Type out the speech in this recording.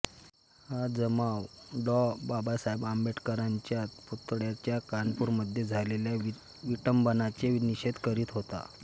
हा जमाव डॉ बाबासाहेब आंबेडकरांच्या पुतळ्याच्या कानपुरमध्ये झालेल्या विटंबनेचा निषेध करीत होता